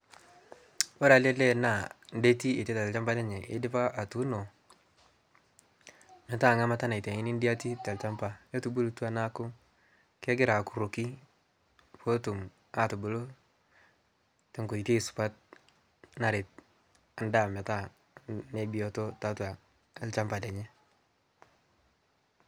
kore ale lee naa ndeti eitaita te lshampa lenyee eidipa atuno metaa nghamata naitaini ndeiti talshampa kotubulutua naaku kegiraa akurokii pootumatubuluu tonkoitei supat naret ndaa metaa nebiotoo taatua lshampa lenyee